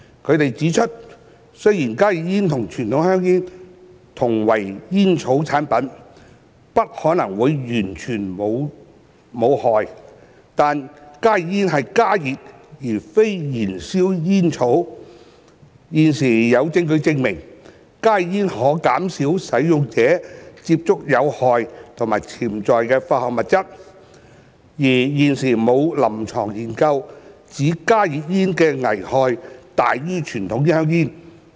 他們指出，雖然加熱煙與傳統香煙同為煙草產品，不可能會完全無害，但加熱煙是加熱而非燃燒煙草，現時有證據證明，加熱煙可減少使用者接觸有害及潛在有害化學物質，而現時沒有臨床研究指加熱煙的危害大於傳統香煙。